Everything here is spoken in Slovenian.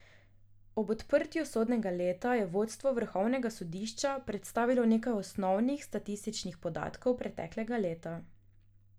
Ob odprtju sodnega leta je vodstvo vrhovnega sodišča predstavilo nekaj osnovnih statističnih podatkov preteklega leta.